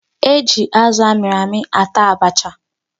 E ji azụ a mịrị amị ata abacha.